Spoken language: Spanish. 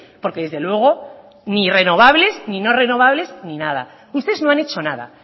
porque desde luego ni renovables ni no renovables ni nada ustedes no han hecho nada